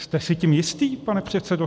Jste si tím jistý, pane předsedo?